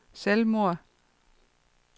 selvmord